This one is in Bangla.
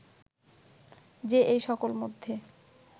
যে এই সকল মধ্যে